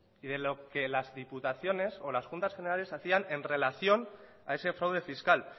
y de lo que las diputaciones o las juntas generales hacían en relación a ese fraude fiscal